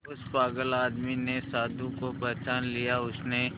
उस पागल आदमी ने साधु को पहचान लिया उसने